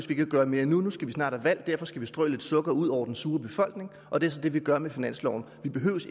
vi ikke at gøre mere nu nu skal vi snart have valg derfor skal vi strø lidt sukker ud over den sure befolkning og det er så det vi gør med finansloven vi behøver